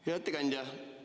Hea ettekandja!